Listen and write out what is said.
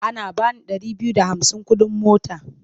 Ana ba ni ɗari biyu da hamsin kuɗin mota.